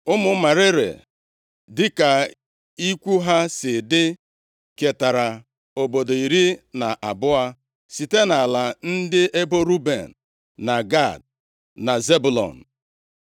Ụmụ Merari dịka ikwu ha si dị ketara obodo iri na abụọ site nʼala ndị ebo Ruben, na Gad, na Zebụlọn.